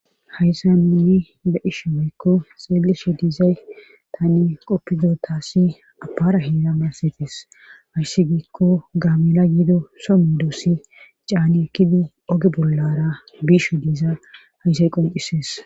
Hayssa nuni ba'isha weykko xeeleshe diizay tani qoppido taassi apara heeda maassetes hayssi giikko gaamela yido somme doossi caani ekkidi oge bollara biisho diiza hayssay qoncisees.